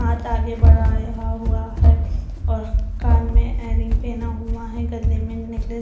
हाथ आगे बढ़ाया हुआ है और कान में इयररिंग पहना हुआ है गले मे नेकलेस